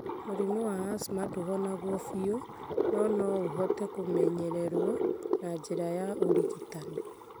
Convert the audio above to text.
Mũrimũ wa asthma ndũhonagwo biũ, no no ũhote kũmenyererũo na njĩra ya ũrigitani.